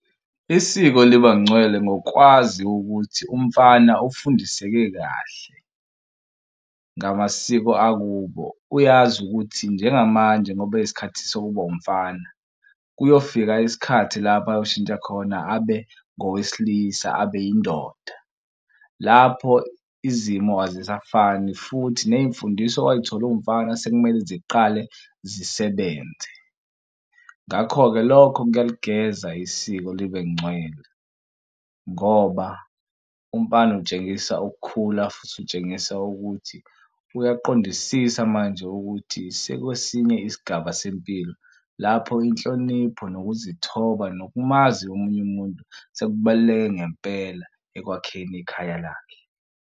Isiko libangcwele ngokwazi ukuthi umfana ufundiseke kahle ngamasiko akubo. Uyazi ukuthi njengamanje ngoba isikhathi sokuba umfana kuyofika isikhathi lapho ayoshintsha khona abe ngowesilisa, abe yindoda. Lapho izimo azisafani futhi ney'mfundiso oway'thola uwumfana sekumele ziqale zisebenze. Ngakho-ke lokho kuyaligeza isiko libe ncwela ngoba umfana utshengisa ukukhula futhi utshengisa ukuthi uyaqondisisa manje ukuthi sekwesinye isigaba sempilo lapho inhlonipho nokuzithoba nokumazi omunye umuntu sekubaluleke ngempela ekwakheni ikhaya lakhe.